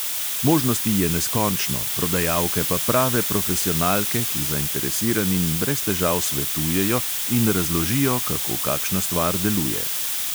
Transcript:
Možnosti je neskončno, prodajalke pa prave profesionalke, ki zainteresiranim brez težav svetujejo in razložijo, kako kakšna stvar deluje.